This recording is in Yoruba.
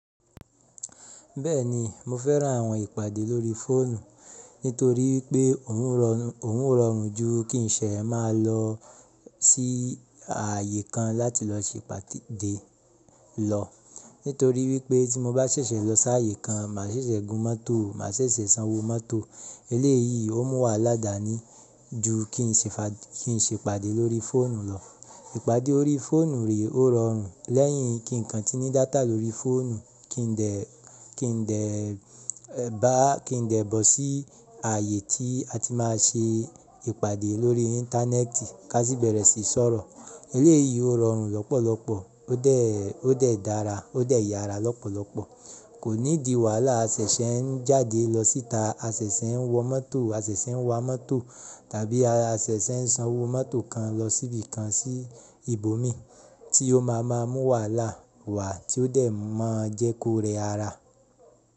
Bẹ́ẹ̀ni, mo fẹ́ran àwọn ìpàdé lórí fóònù nítorí pé òun rọrùn ju kí n ṣe máa lọ sí ààyè kan láti lọ ṣe ìpàdé lọ. Nítorí wípé tí mo bá ṣẹ̀ṣẹ̀ lọ sí ààyè kan, má ṣẹ̀ṣẹ̀ gun mọ́tò, má ṣẹ̀ṣẹ̀ sanwó mọ́tò. Eléyìí ó mú wà ládàánì ju kí n ṣe ìpàdé lórí fóònù lọ. Ìpàdé orí fóònù rè o rọrùn lẹ́yìn kí ǹkan tí ní data lórí fóònù, kí n dẹ̀ bọ̀ sí ààyè tí a ti máa ṣe ìpàdé lórí íńtánẹ́ẹ̀tì, ká sì bẹ̀rẹ̀ sí sọ̀rọ̀. Eléyìí ó rọrùn lọ́pọ̀lọpọ̀, ó dẹ̀ dára, ó dẹ̀ yára lọ́pọ̀lọpọ̀. Kò nídi wàhálà asẹ̀ṣẹ̀ ń jáde lọ síta, asẹ̀ṣẹ̀ ń wọ mọ́tò, asẹ̀ṣẹ̀ ń wa mọ́tò tàbí asẹ̀ṣẹ̀ ń sanwó mọ́tò kan lọ síbi kan ní ibòmí tí ó má a mú wàhálà wá tí ó dẹ̀ máa jẹ kó rẹ ara.